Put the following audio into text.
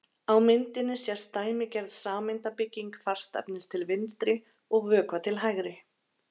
á myndinni sést dæmigerð sameindabygging fastefnis til vinstri og vökva til hægri